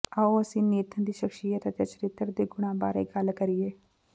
ਆਓ ਅਸੀਂ ਨੇਥਨ ਦੀ ਸ਼ਖਸੀਅਤ ਅਤੇ ਚਰਿੱਤਰ ਦੇ ਗੁਣਾਂ ਬਾਰੇ ਗੱਲ ਕਰੀਏ